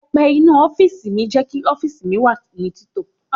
Pẹpẹ inú ọ́fíìsì jẹ́ kí ọ́fíìsì mi wà ní tito.